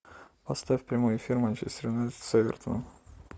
поставь прямой эфир манчестер юнайтед с эвертоном